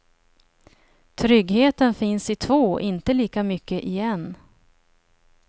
Tryggheten finns i två, inte lika mycket i en.